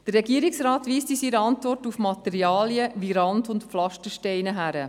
Der Regierungsrat weist in seiner Antwort auf Materialien wie Rand- und Pflastersteine hin.